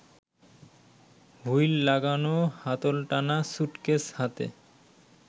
wheel লাগানো হাতলটানা suitcase হাতে